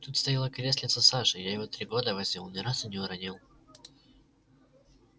тут стояло креслице саши я его три года возил ни разу не уронил